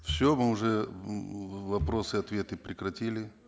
все мы уже м вопросы ответы прекратили